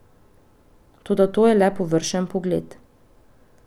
Toda to je le površen pogled.